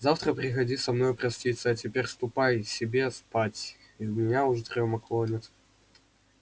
завтра приходи со мною проститься а теперь ступай себе спать и меня уж дрёма клонит